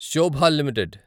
Shobha limited